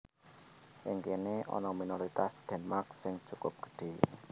Ing kéné ana minoritas Denmark sing cukup gedhé